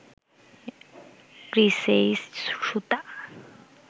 কৃসেইস সুতা